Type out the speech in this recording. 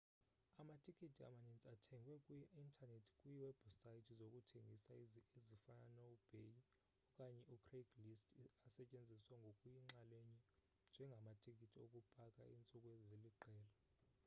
amatikiti amaninzi athengwe kwi-intanethi kwiwebhusayithi zokuthengisa ezifana noebay okanye ucraigslist asetyenziswa ngokuyinxalenye njengamatiki okupaka iintsuku eziliqela